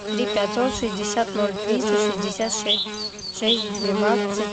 три пятьсот шестьдесят ноль триста шестьдесят шесть двенадцать